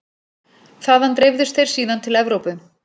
Þaðan dreifðust þeir síðan til Evrópu.